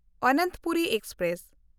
Ananthapuri express